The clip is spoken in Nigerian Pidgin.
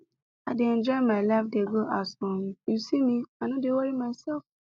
i dey enjoy my life dey go as um you see me i no dey worry myself